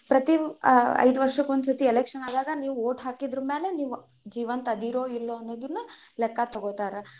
ಪ್ರತಿ ಐದು ವರ್ಷಕ್ ಒಂದ್ ಸತಿ election ಆದಾಗ ನೀವ್ vote ಹಾಕಿದ್ರು ಮ್ಯಾಲೆ ನೀವ್ ಜೀವಂತ ಅದಿರೋ ಇಲ್ಲೋ ಅನ್ನೋದನ್ನ್ ಲೆಕ್ಕ ತಗೋತಾರ.